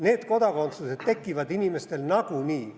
Need kodakondsused tekivad inimestel nagunii.